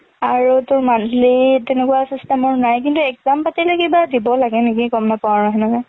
আৰু তোৰ monthly তেকুৱা system ৰ নাই, কিন্তু exam পাতিলে কিবা দিব লাগে নেকি গম নাপাও আৰু সেনেকুৱা।